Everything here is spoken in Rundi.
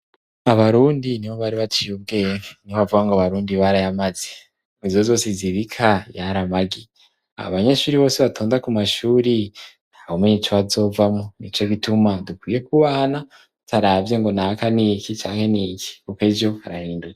Abarundi ni bo bari baciye ubwenge, niho bavaga ngo abarundi barayamaze "izo zose zibika yari amagi", abanyeshuri bose batonda ku mashuri nta wumenya ico bazovamwo nico gituma dukwiye kubahana tutaravye ngo naka n'iki cake n'iki kuko ejo harahinduka.